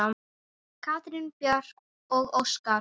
Katrín Björg og Óskar.